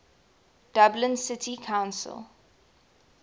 dublin city council